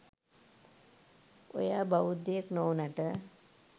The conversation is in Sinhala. ඔයා බෞද්ධයෙක් නොවුනට